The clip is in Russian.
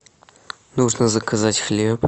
нужно заказать хлеб